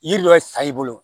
Yiri dɔ bɛ san i bolo